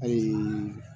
Ayi